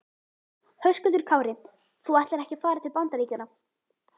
Höskuldur Kári: Þú ætlar ekki að fara til Bandaríkjanna?